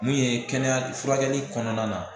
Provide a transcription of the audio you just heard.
Mun ye kɛnɛya furakɛli kɔnɔna na